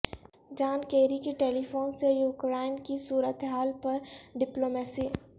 جان Kerry کی telephone سے Ukraine کی صورت حال پر ڈپلومیسی